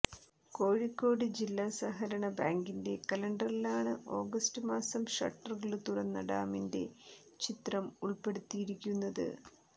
കോഴിക്കോട് ജില്ലാ സഹകരണ ബാങ്കിന്റെ കലണ്ടറിലാണ് ഓഗസ്റ്റ് മാസം ഷട്ടറുകള് തുറന്ന ഡാമിന്റെ ചിത്രം ഉള്പ്പെടുത്തിയിരിക്കുന്നത്